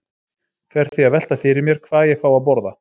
Fer því að velta fyrir mér hvað ég fái að borða.